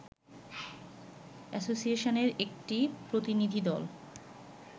অ্যাসোসিয়েশনের একটি প্রতিনিধিদল